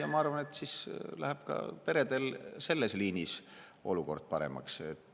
Ja ma arvan, et siis läheb peredel ka selles liinis olukord paremaks.